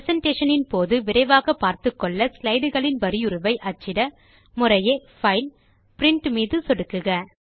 presentation போது விரைவாக பார்த்துக்கொள்ள ஸ்லைட்களின் வரியுருவை அச்சிட முறையே பைல் பிரின்ட் ஐ சொடுக்குக